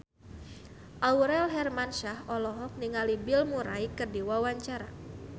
Aurel Hermansyah olohok ningali Bill Murray keur diwawancara